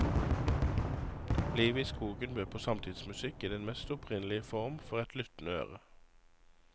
Livet i skogen bød på samtidsmusikk i den mest opprinnelige form for et lyttende øre.